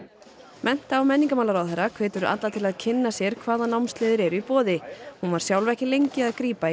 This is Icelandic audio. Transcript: mennta og menningarmálaráðherra hvetur alla til að kynna sér hvaða námsleiðir eru í boði hún var sjálf ekki lengi að grípa í